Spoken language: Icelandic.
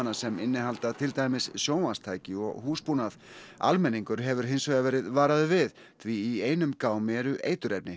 sem innihalda til dæmis sjónvarpstæki og húsbúnað almenningur hefur hins vegar verið varaður við því í einum gámi eru eiturefni